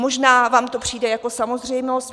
Možná vám to přijde jako samozřejmost.